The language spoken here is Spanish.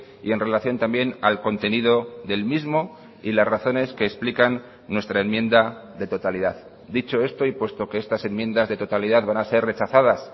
y en relación también al contenido del mismo y las razones que explican nuestra enmienda de totalidad dicho esto y puesto que estas enmiendas de totalidad van a ser rechazadas